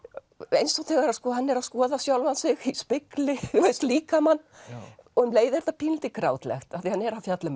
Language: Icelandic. eins og þegar hann er að skoða sjálfan sig í spegli þú veist líkamann og um leið er þetta pínulítið grátlegt af því hann er að fjalla um